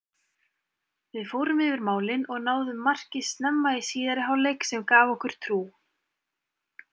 Við fórum yfir málin og náðum marki snemma í síðari hálfleik sem gaf okkur trú.